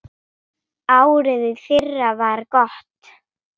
Árið í fyrra var gott.